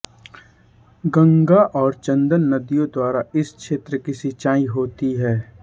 गंगा और चंदन नदियों द्वारा इस क्षेत्र की सिंचाई होती है